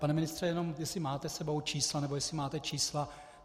Pane ministře, jenom jestli máte s sebou čísla nebo jestli máte čísla.